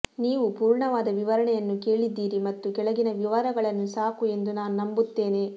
ನೀವು ಪೂರ್ಣವಾದ ವಿವರಣೆಯನ್ನು ಕೇಳಿದ್ದೀರಿ ಮತ್ತು ಕೆಳಗಿನ ವಿವರಗಳನ್ನು ಸಾಕು ಎಂದು ನಾನು ನಂಬುತ್ತೇನೆ